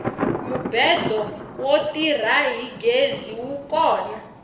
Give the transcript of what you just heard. mubedo wo tirha hi gezi wu kona